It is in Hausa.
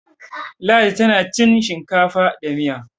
Ladi tana cin shinkafa da Miya